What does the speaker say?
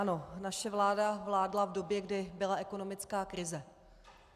Ano, naše vláda vládla v době, kdy byla ekonomická krize.